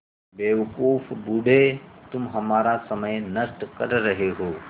बेवकूफ़ बूढ़े तुम हमारा समय नष्ट कर रहे हो